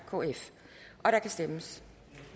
og der kan stemmes